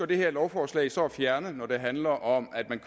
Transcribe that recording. det her lovforslag så at fjerne når det handler om at